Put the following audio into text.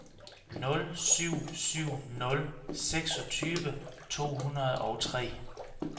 nul syv syv nul seksogtyve to hundrede og tre